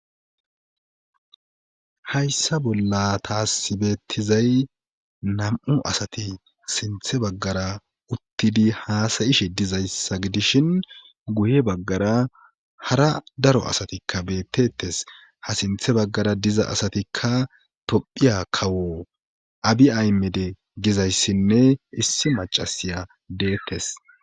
Hayssa bolla taasi bettizay nam'u asati siinththe baggara uttidi haasa'ishshe dizayssa gidishin guye baggara hara daro asatikka bettettes ha siinththe baggara diza asatikka tophohiya kawo abi aymede gizayssinne issi macasiya deettes